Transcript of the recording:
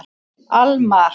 Almar